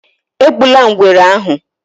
Egbula Ngwere ahu!